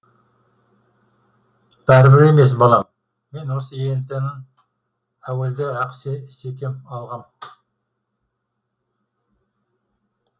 бәрібір емес балам мен осы ент іңнің әуелде ақ секем алғам